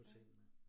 Ja